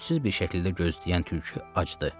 Ümidsiz bir şəkildə gözləyən tülkü acdı.